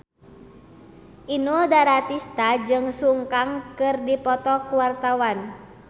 Inul Daratista jeung Sun Kang keur dipoto ku wartawan